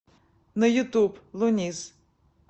на ютуб луниз